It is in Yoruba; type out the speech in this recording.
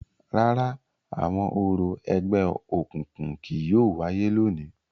Rárá, awọn orȯ ẹgbẹokunkun kii yóò waye lóni.